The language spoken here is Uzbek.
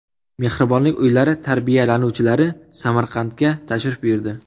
Mehribonlik uylari tarbiyalanuvchilari Samarqandga tashrif buyurdi.